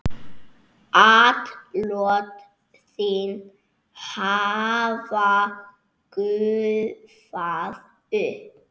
Atlot þín hafa gufað upp.